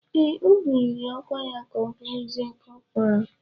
Ee, e buliri ọkwa ya ka ọ bụrụzie kọpral.